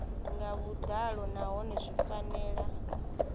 nga vhuḓalo nahone zwi fanela